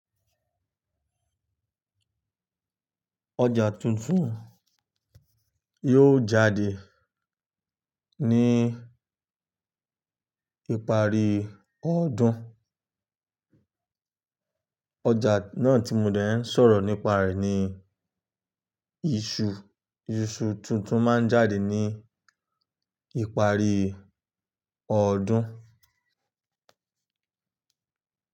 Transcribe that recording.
Ọjà tuntun yóò jáde ní ìparí ọdún. Ọjà náà tí mo dẹ́ ń sọ̀rọ̀ nípa rẹ̀ ni iṣu. Iṣu tuntun máa ń jáde ní ìparí ọdún.